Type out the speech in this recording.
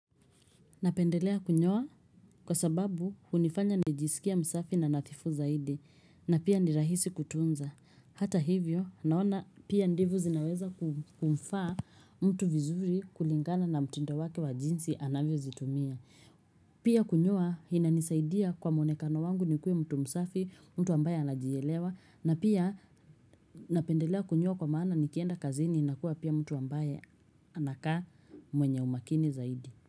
Napendelea kunyoa kwa sababu hunifanya nijisikie msafi na nadhifu zaidi na pia ni rahisi kutunza. Hata hivyo naona pia ndevu zinaweza kumfaa mtu vizuri kulingana na mtindo wake wa jinsi anavyozitumia. Pia kunyoa inanisaidia kwa mwonekano wangu nikuwe mtu msafi, mtu ambaye anajielewa na pia napendelea kunyoa kwa maana nikienda kazini nakuwa pia mtu ambaye anakaa mwenye umakini zaidi.